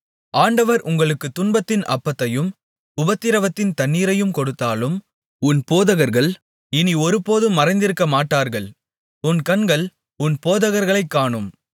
ஆண்டவர் உங்களுக்குத் துன்பத்தின் அப்பத்தையும் உபத்திரவத்தின் தண்ணீரையும் கொடுத்தாலும் உன் போதகர்கள் இனி ஒருபோதும் மறைந்திருக்கமாட்டார்கள் உன் கண்கள் உன் போதகர்களைக் காணும்